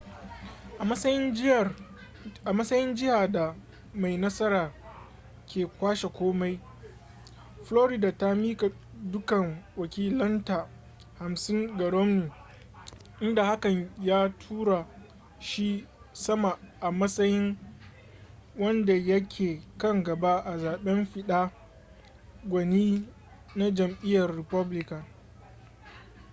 a matsayin jihar da mai nasara ke kwashe komai florida ta miƙa dukkan wakilanta hamsin ga romney inda hakan ya tura shi sama a matsayin wanda yake kan gaba a zaben fidda gwani na jam'iyyar republican